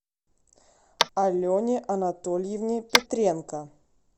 алене анатольевне петренко